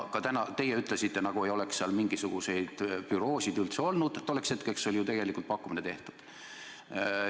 Ka teie ütlesite, nagu ei oleks seal mingisuguseid büroosid üldse mainitud, aga tolleks hetkeks oli tegelikult pakkumine tehtud.